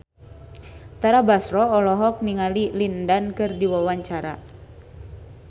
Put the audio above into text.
Tara Basro olohok ningali Lin Dan keur diwawancara